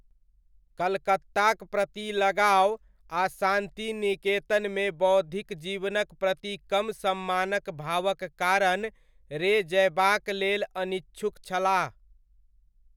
कलकत्ताक प्रति लगाव आ शान्तिनिकेतनमे बौद्धिक जीवनक प्रति कम सम्मानक भावक कारण रे जयबाक लेल अनिच्छुक छलाह।